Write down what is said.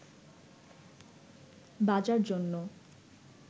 বাজার জন্য